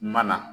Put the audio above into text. Mana